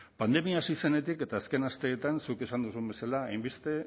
pandemia hasi zenetik eta azken asteetan zuk esan duzun bezala hainbeste